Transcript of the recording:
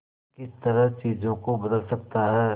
किस तरह चीजों को बदल सकता है